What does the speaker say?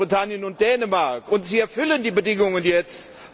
Großbritannien und Dänemark, und Sie erfüllen die Bedingungen jetzt.